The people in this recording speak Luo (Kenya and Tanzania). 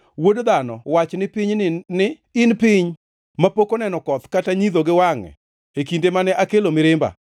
“Wuod dhano, wach ni piny ni, ‘In piny mapok oneno koth kata nyidho gi wangʼe e kinde mane akelo mirimba.’